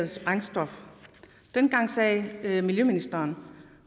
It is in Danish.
sprængstof dengang sagde miljøministeren